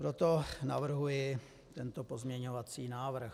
Proto navrhuji tento pozměňovací návrh.